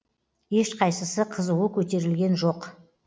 ешқайсысы қызуы көтерілген жоқ